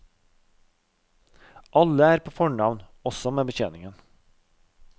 Alle er på fornavn, også med betjeningen.